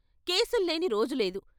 కేసుల్లేని రోజులేదు.